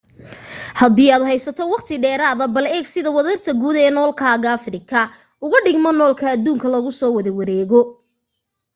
hadii aad haysato waqti dheeraada bal eeg sida wadarta guud ee noolkaaga afrika ugu dhigmo noolka adduunka lagu soo wada wareegayo